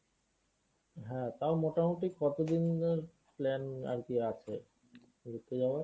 হ্যাঁ তা মোটামুটি কতদিন এর plan আরকি আছে? যাওয়ার?